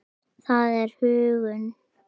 Það er huggun.